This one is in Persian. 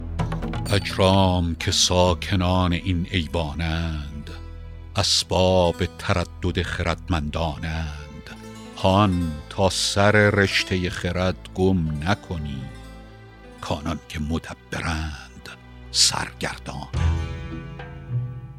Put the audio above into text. اجرام که ساکنان این ایوان اند اسباب تردد خردمندان اند هان تا سر رشته خرد گم نکنی کانان که مدبرند سرگردان اند